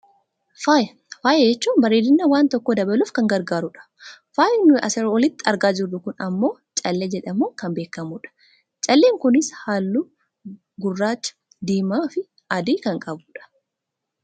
Faaya, faaya jechuun bareedina wanta tokkoo dabaluuf kan gargaaru dha. Faayi nuyi asii olitti argaa jirru kun ammoo callee jedhamuun kan beekkamu dha. Calleen kunis halluu gurraa, diimaa fi adii kan qabudha.